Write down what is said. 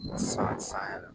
San say